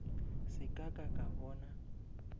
se ka ka ka bona